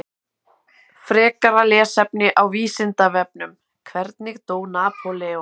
Frekara lesefni á Vísindavefnum: Hvernig dó Napóleon?